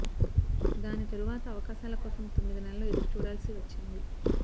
దాని తరువాత అవకాశాల కోసం తొమ్మిది నెలలు ఎదురు చూడాల్సి వచ్చింది